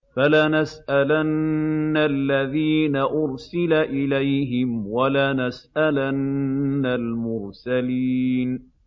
فَلَنَسْأَلَنَّ الَّذِينَ أُرْسِلَ إِلَيْهِمْ وَلَنَسْأَلَنَّ الْمُرْسَلِينَ